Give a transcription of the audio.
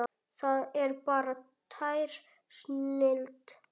Það er bara tær snilld.